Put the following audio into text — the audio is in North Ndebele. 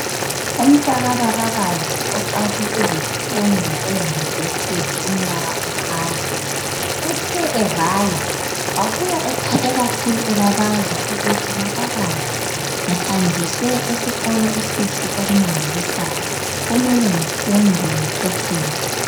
Umntaka babakazi uqale izifundo eyunivesithi umnyaka uqala. Uthe evala wabuya ethabe kakhulu ebabaza ukuthi, "Babakazi, ngihanjiswe esikolo esihle okumangalisayo. Kumele ngifunde ngiqeqetshe."